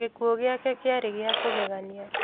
Gikuũ gĩake kĩarĩ gĩa kũgegania